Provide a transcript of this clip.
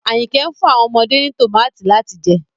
Ayinke n fun awọn ọmọde ni tomati lati jẹ